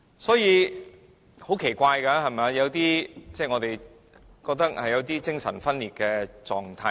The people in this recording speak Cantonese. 所以很奇怪，我們覺得出現了有點精神分裂的情況。